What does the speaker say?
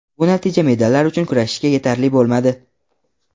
Bu natija medallar uchun kurashishga yetarli bo‘lmadi.